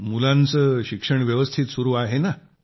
मुलांचं शिक्षण व्यवस्थित सुरू आहे ना